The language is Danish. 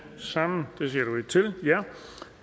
sammen